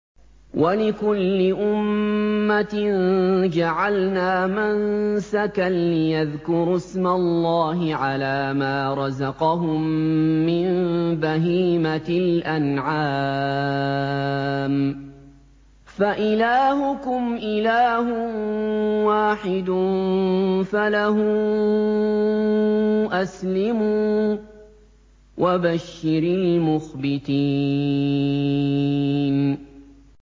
وَلِكُلِّ أُمَّةٍ جَعَلْنَا مَنسَكًا لِّيَذْكُرُوا اسْمَ اللَّهِ عَلَىٰ مَا رَزَقَهُم مِّن بَهِيمَةِ الْأَنْعَامِ ۗ فَإِلَٰهُكُمْ إِلَٰهٌ وَاحِدٌ فَلَهُ أَسْلِمُوا ۗ وَبَشِّرِ الْمُخْبِتِينَ